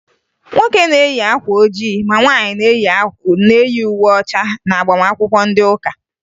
Nwoke na-eyi akwa ojii ma nwaanyị na-eyi uwe ọcha n'agbamakwụkwọ ndị ụka